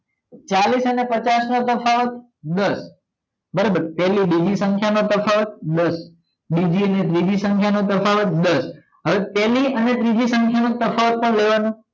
ચાલીસ અને પાંચસ નો તફાવત દસ બરોબર પેલી બીજી સંખ્યા નો તફાવત દસ બીજી ત્રીજી સંખ્યા નો તફાવત દસ હવે પેલી અને ત્રીજી સંખ્યાનો તફાવત પણ લેવાનો